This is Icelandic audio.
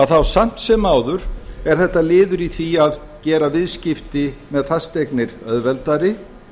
þá samt sem áður er þetta liður í því að gera viðskipti með fasteignir auðveldari